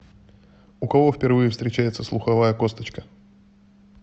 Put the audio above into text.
у кого впервые встречается слуховая косточка